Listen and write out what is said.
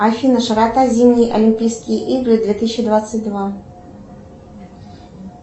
афина широта зимние олимпийские игры две тысячи двадцать два